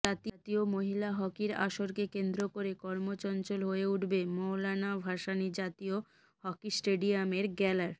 জাতিও মহিলা হকির আসরকে কেন্দ্র করে কর্মচঞ্চল হয়ে উঠবে মওলানা ভাসানী জাতীয় হকি স্টেডিয়ামের গ্যালার